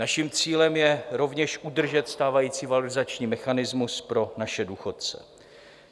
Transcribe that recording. Naším cílem je rovněž udržet stávající valorizační mechanismus pro naše důchodce.